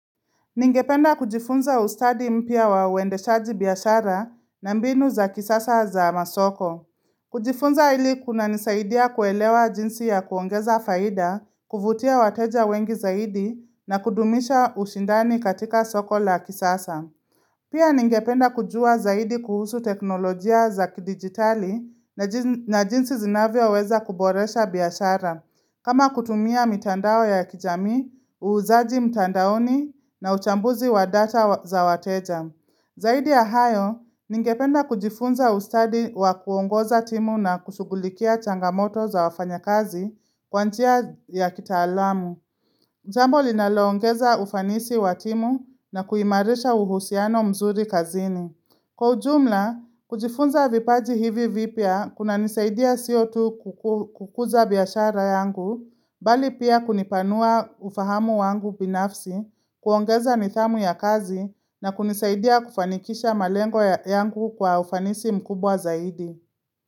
Ningependa kujifunza ustadi mpya wa uendeshaji biashara na mbinu za kisasa za masoko. Kujifunza ili kuna nisaidia kuelewa jinsi ya kuongeza faida, kuvutia wateja wengi zaidi na kudumisha ushindani katika soko la kisasa. Pia ningependa kujua zaidi kuhusu teknolojia za kidigitali na jinsi zinavyo weza kuboresha biashara, kama kutumia mitandao ya kijamii, uuzaji mitandaoni na uchambuzi wa data za wateja. Zaidi ya hayo, ningependa kujifunza ustadi wa kuongoza timu na kusughulikia changamoto za wafanya kazi kwanjia ya kita alamu. Jambo linaloongeza ufanisi wa timu na kuimarisha uhusiano mzuri kazini. Kwa ujumla, kujifunza vipaji hivi vipia kuna nisaidia sio kukuza biashara yangu, bali pia kunipanua ufahamu wangu binafsi, kuongeza nithamu ya kazi na kunisaidia kufanikisha malengo yangu kwa ufanisi mkubwa zaidi.